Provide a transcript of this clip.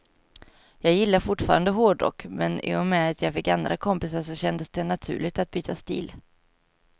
Jag gillar fortfarande hårdrock, men i och med att jag fick andra kompisar så kändes det naturligt att byta stil.